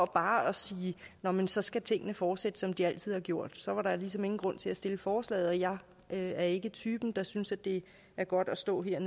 bare at sige nå men så skal tingene fortsætte som de altid har gjort så er der jo ligesom ingen grund til at stille forslaget og jeg er ikke typen der synes at det er godt at stå her